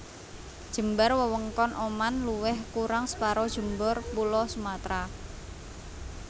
Jembar wewengkon Oman luwih kurang separo jembar Pulo Sumatra